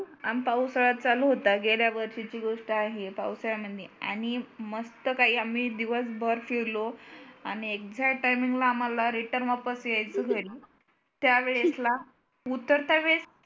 आन पाऊसाळात चालू होता गेल्या वर्षीची गोष्ट आहे पाऊसाळा म्हणे आणि मस्त काय आम्ही दिवसभर फिरलो आणि exact timing ला आम्हाला return वापस येयच घरी त्यावेळेस उतरता वेळी